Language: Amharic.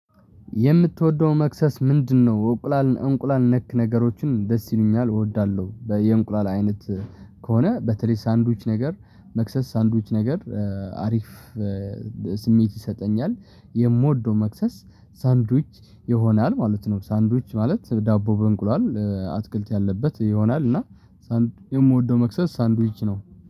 የምትወደው መክሰስ ምንድነው? እንቁላል እንቁላል ነክ ነገሮችን ደስ ይሉኛል እወዳለሁ በየእንቁላል አይነት። ከሆነ በተለይ ሳንዱች ነገር መክሰስ ሳንዱች ነገር አሪፍ። ስሜት ይሰጠኛል የምወደው መክሰስ ሳንድዊች ይሆናል ማለት ነው። ሳንድዊች ማለት ዳቦ በእንቁሏል አትክልት ያለበት ይሆናል እና ሳንድ የምወደው መክሰስ ሳንድዊች ነው